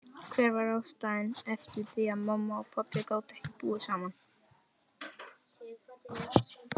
Hver var ástæðan fyrir því að mamma og pabbi gátu ekki búið saman?